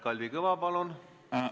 Kalvi Kõva, palun!